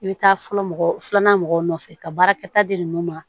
I bɛ taa fɔlɔ mɔgɔ filanan mɔgɔw nɔfɛ ka baarakɛta di ninnu ma